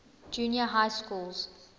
junior high schools